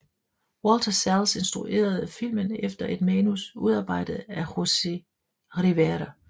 Walter Salles instruerede filmen efter et manus udarbejdet af Jose Rivera